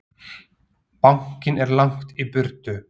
Bankinn er langt í burtu.